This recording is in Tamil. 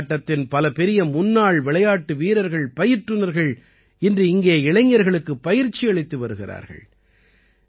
கால்பந்தாட்டத்தின் பல பெரிய முன்னாள் விளையாட்டு வீரர்கள் பயிற்றுநர்கள் இன்று இங்கே இளைஞர்களுக்கு பயிற்சியளித்து வருகிறார்கள்